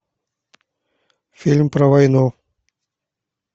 фильм про войну